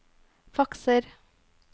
fakser